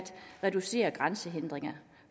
reducere grænsehindringer